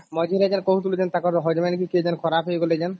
ମଝିରେ ଯୋଉ କହୁଥିଲୁ ତାଙ୍କର husband ନ କେରେ ଖରାପ ହେଇଗଲେ ଯେନ